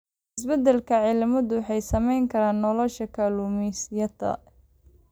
Isbedelka cimiladu wuxuu saameyn karaa nolosha kalluumeysatada.